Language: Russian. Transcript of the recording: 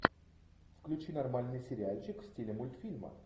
включи нормальный сериальчик в стиле мультфильма